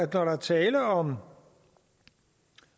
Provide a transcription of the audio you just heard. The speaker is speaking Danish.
der er tale om